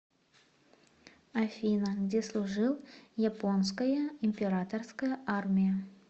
афина где служил японская императорская армия